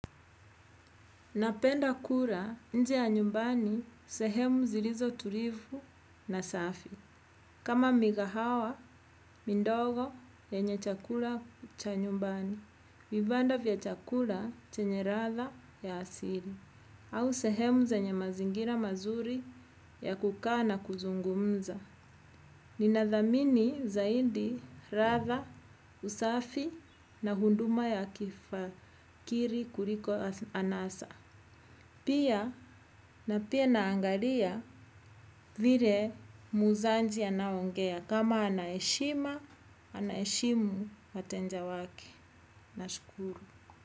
Napenda kula nje ya nyumbani sehemu zilizotulivu na safi. Kama mikahawa, midogo yenye chakula cha nyumbani. Vibanda vya chakula chenye ladha ya asili. Au sehemu zenye mazingira mazuri ya kukaa na kuzungumza. Ninadhamini zaidi ladha, usafi na huduma ya kiakili kuliko anasa. Na pia naangalia vile muuzaji anaongea. Kama anaheshima, anaheshimu wateja wake. Nashukuru.